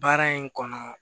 Baara in kɔnɔ